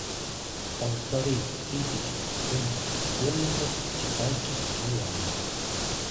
полторы тысячи фунтов стерлингов в китайских юанях